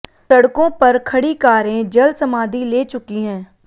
सड़कों पर खड़ी कारें जल समाधि ले चुकी हैं